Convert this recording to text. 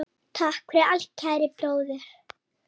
Takk fyrir allt, kæri bróðir.